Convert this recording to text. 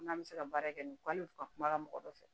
N'an bɛ se ka baara kɛ nin k'an kuma mɔgɔ dɔ fɛ